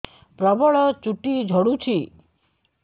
ପ୍ରବଳ ଚୁଟି ଝଡୁଛି